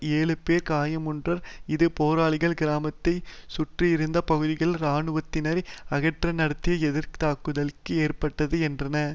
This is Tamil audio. ஏழு பேர் காயமுற்றனர் இது போராளிகள் கிராமத்தை சுற்றியிருந்த பகுதிகளில் இராணுவத்தினரை அகற்ற நடத்திய எதிர்தாக்குதலில் ஏற்பட்டது என்றன